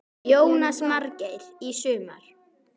Jónas Margeir: Í sumar?